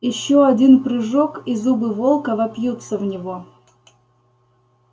ещё один прыжок и зубы волка вопьются в него